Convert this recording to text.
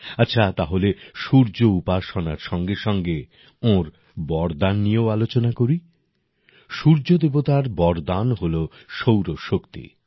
আচ্ছা তাহলে সূর্য উপাসনার সঙ্গে সঙ্গে ওঁর বরদান নিয়েও আলোচনা করি সূর্য দেবতার বরদান হল সৌরশক্তি